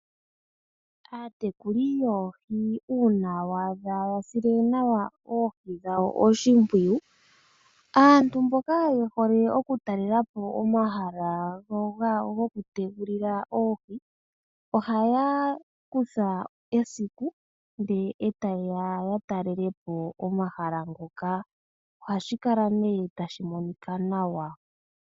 Aatekuli yoohi uuna waadha yasile nawa oohi dhawo oshipwiyu aantu mboka yehole oku talelapo omahala gokutekulila oohi ohaya kutha esiku ndee eta yeya yatalelepo omahala ngoka. Ohashi kala tashi monika nawa.